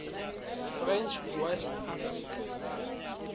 french west africa